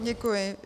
Děkuji. -